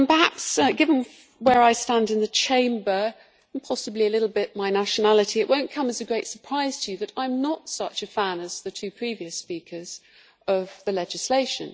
Perhaps, given where I stand in the Chamber and possibly a little bit my nationality, it will not come as a great surprise to you that I am not such a fan as the two previous speakers of the legislation.